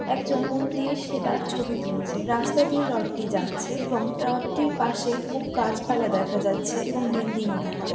একজন মন দিয়ে সে তার ছবি তুলছে রাস্তা দিয়ে রথটি যাচ্ছে এবং রথটির পাশে বহু গাছপালা দেখা যাচ্ছে এবং বিল্ডিং ও দেখা যা--